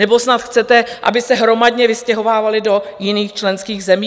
Nebo snad chcete, aby se hromadně vystěhovávali do jiných členských zemí?